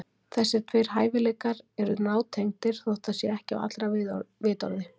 Þessir tveir hæfileikar eru nátengdir, þótt það sé ekki á allra vitorði.